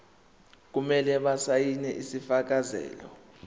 kumele basayine isifakazelo